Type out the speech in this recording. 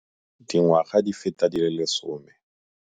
Dingwaga di feta di le 10.